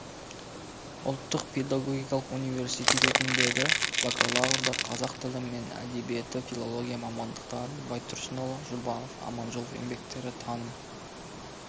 ұлттық педагогикалық университетіндегі бакалаврда қазақ тілі мен әдебиеті филология мамандықтарын байтұрсынұлы жұбанов аманжолов еңбектері таным